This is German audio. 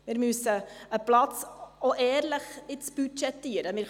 Wir müssen einen Platz auch ehrlich budgetieren.